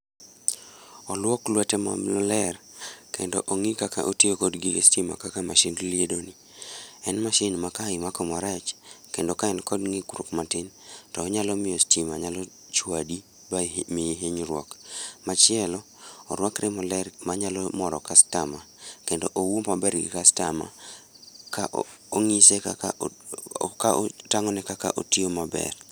Oluok lwete momler, kendo ong'i kaka otiyo kod gige stima kaka mashind liedo ni. En mashin ma ka imako marach, kendo ka en kod ng'ikruok matin, to onyalo miyo stima nyalo chwadi, ba miyi hinyruok. Machielo, orwakre maler manyalo moro customer kendo owuo maber gi customer, ka ong'ise kaka ka otang'one kaka otiyo maber